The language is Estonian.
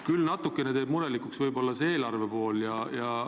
Küll teeb natukene murelikuks eelarve pool.